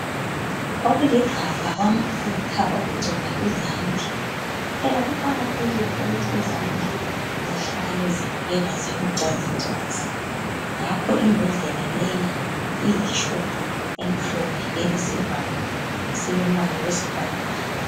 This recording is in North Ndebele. Okuligabha kwamafutha okugcoba izandla. Phela kuqakathekile ukuthi izandla zihlale zibukeka zibucwazicwazi ngakho imbodlela leyi iyitshubhu emhlophe elesivalo esilombala wesibhakabhaka.